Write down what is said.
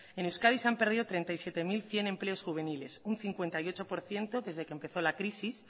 en euskadi se han perdido treinta y siete mil cien empleos juveniles un cincuenta y ocho por ciento desde que empezó la crisis